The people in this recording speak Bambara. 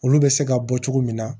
Olu bɛ se ka bɔ cogo min na